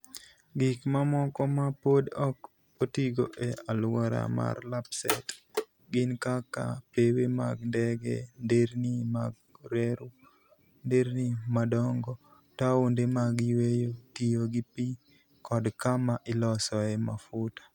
Gik mamoko ma pod ok otigo e alwora mar Lapsset gin kaka, pewe mag ndege, nderni mag reru, nderni madongo, taonde mag yueyo, tiyo gi pi, kod kama ilosoe mafuta.